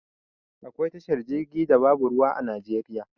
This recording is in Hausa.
Akwai tashar jirgi da babu ruwa a najeriya